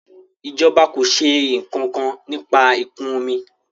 ìjọba kọ ṣe nkankan nípa ikun omi